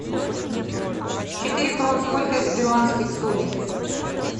четыре крон сколько это перуанских солей